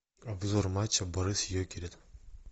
обзор матча барыс йокерит